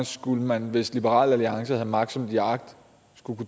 skulle man hvis liberal alliance havde magt som de har agt kunne